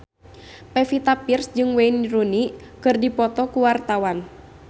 Pevita Pearce jeung Wayne Rooney keur dipoto ku wartawan